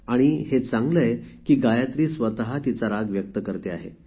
आणि हे चांगले आहे की गायत्री स्वत तिचा राग व्यक्त करते आहे